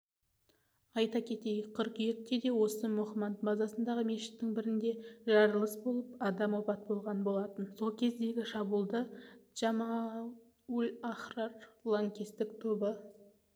айта кетейік қыркүйекте де осы мохманд базасындағы мешіттің бірінде жарылыс болып адам опат болған болатын сол кездегі шабуылды джамаат-уль-ахрар лаңкестік тобы